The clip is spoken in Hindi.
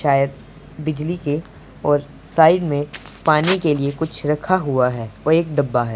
शायद बिजली के और साइड में पानी के लिए कुछ रखा हुआ है और एक डब्बा है।